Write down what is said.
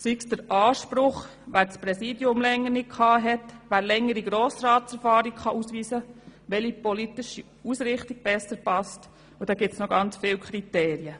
sei dies der Anspruch derjenigen, welche das Präsidium länger nicht innehatten, die Frage, wer längere Grossratserfahrung ausweisen kann, welche politische Ausrichtung einem besser passt und noch viele weitere Kriterien.